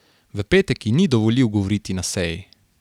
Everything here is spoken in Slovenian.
V petek ji ni dovolil govoriti na seji.